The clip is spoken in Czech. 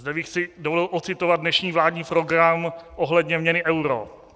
Zde bych si dovolil ocitovat dnešní vládní program ohledně měny euro.